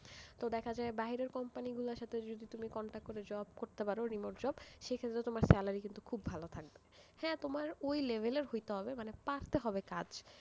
তো দেখা যায়, বাহিরের company র গুলার সাথে যদি তুমি contact করে job করতে পারো remote job, সেই ক্ষেত্রে তোমার salary কিন্তু অনেক ভালো থাকবে, হ্যাঁ তোমার ওই level এর হইতে হবে, মানে পারতে হবে কাজ।